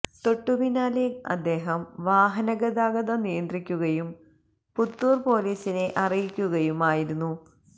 തൊട്ടുപിന്നാലെ അദ്ദേഹം വാഹന ഗതാഗതം നിയന്ത്രിക്കുകയും പുത്തൂർ പോലീസിനെ അറിയിക്കുകയും ആയിരുന്നു